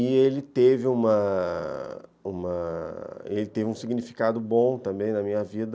E ele teve uma uma uma um significado bom também na minha vida,